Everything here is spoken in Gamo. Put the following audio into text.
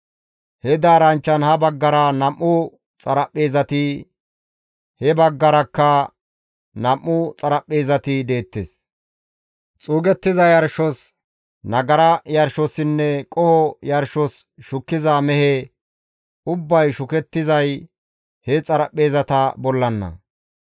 He daaranchchan ha baggara nam7u xaraphpheezati, he baggarakka nam7u xaraphpheezati deettes; xuugettiza yarshos, nagara yarshossinne qoho yarshos shukkiza mehe ubbay shukettizay he xaraphpheezata bollana.